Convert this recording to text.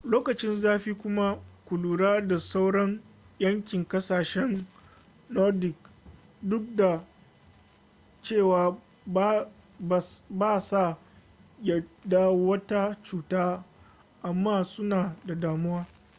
lokacin zafi kuma ku lura da sauron yankin ƙasashen nordic duk da cewa ba sa yaɗa wata cuta amma suna da damuwa